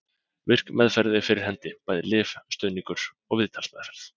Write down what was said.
Virk meðferð er fyrir hendi, bæði lyf, stuðningur og viðtalsmeðferð.